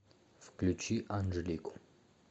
включи анжелику